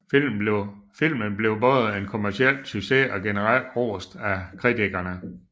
Filmen blev både en kommerciel succes og generelt rost af kritikerne